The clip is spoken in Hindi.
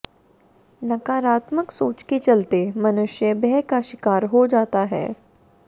नकारात्मक सोच के चलते मनुष्य भय का शिकार हो जाता है